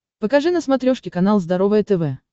покажи на смотрешке канал здоровое тв